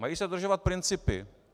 Mají se dodržovat principy.